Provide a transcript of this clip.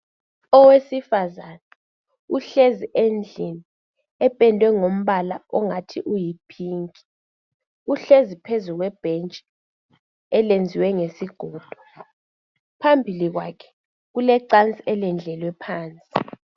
Owesifazana uhlezi endlini ependwe ngombala ongathi uyiphinki uhlezi phezu kwebentshi eliyenziwe ngesigodo phambili kwakhe kulecansi elendlelwe phansi.